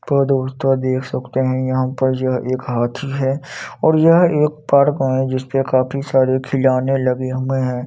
पर दोस्तों देख सकते हैं यहाँ पर जो एक हाथी है और यह एक पार्क में जिसपे काफी सारे खिलोने लगे मैं है।